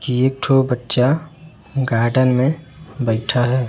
एकठो बच्चा गार्डन में बइठा है।